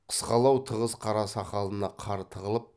қысқалау тығыз қара сақалына қар тығылып